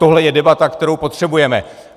Tohle je debata, kterou potřebujeme.